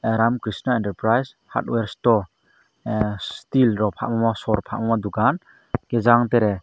ramkrishna enterprise hardware sto ah steel rok falma sor falma dokan tejang tere.